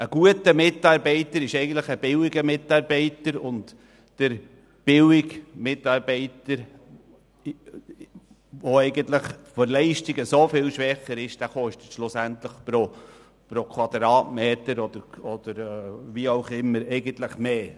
Ein guter Mitarbeiter ist eigentlich ein billiger Mitarbeiter, und der billige Mitarbeiter, der in seiner Leistung stark vom Durchschnitt abfällt, kostet pro Quadratmeter – oder wie auch immer – mehr.